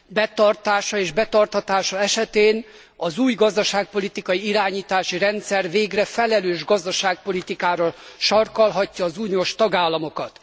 Betartása és betartatása esetén az új gazdaságpolitikai irányítási rendszer végre felelős gazdaságpolitikára sarkallhatja az uniós tagállamokat.